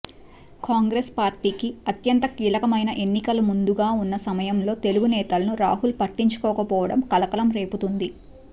కాంగ్రెస్ పార్టీకి అత్యంత కీలకమైన ఎన్నికలు ముందుగా ఉన్న సమయంలో తెలుగు నేతల్ని రాహుల్ పట్టించుకోకపోవడం కలకలం రేపుతోంది